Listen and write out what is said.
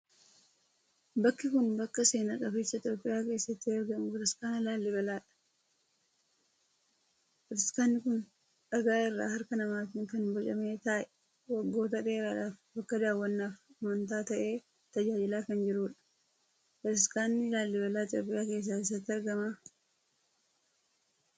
Bakki kun bakka seena qabeessa Itiyoophiyaa keessatti argamu bataskaana Laalibelaadha. Bataskaanni kun dhagaa irraa harka namaatiin kan bocame ta'ee waggoota dheeraadhaaf bakka daawwannaafi amantaa ta'ee tajaajilaa kan jiruudha. Bataskaanni Laalibelaa Itiyoophiyaa keessaa eessatti argama?